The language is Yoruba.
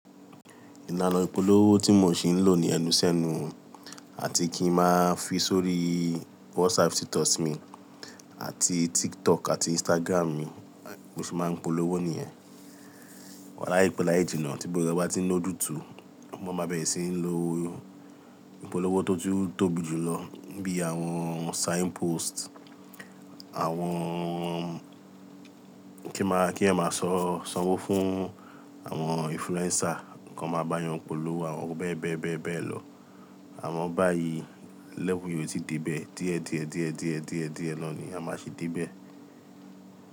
Ìlànà ìpolówó tí mò ń ṣì ń lò ní ẹnu sẹ́nu àti kí ń máa fi sórí WhatsApp status mi àti TikTok àti Instagram mi, bí mo ṣe máa ń polówó nìyẹn. Láìpẹ́ láì jìnà tí gbogbo ẹ bá ti ńlójútù, mo máa bẹ̀rẹ̀ sí ń lo ìpolówó tó tún tóbi jù lọ bí i àwọn signpost, àwọn kí máa, kí a máa sanwó fún àwọn influencer, kí wọ́n máa bá yàn polówó, àwọn bẹ́ẹ̀ bẹ́ẹ̀ bẹ́ẹ̀ bẹ́ẹ̀ lọ. Àmọ́ báyìí lẹ́vùú yẹn ó ti dé bẹ́ẹ̀ díẹ̀ díẹ̀ díẹ̀ díẹ̀ díẹ̀ díẹ̀ náà ni a máa ṣì dé bẹ́ẹ̀.